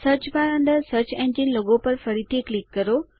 search bar અંદર search engine logo પર ફરીથી ક્લિક કરો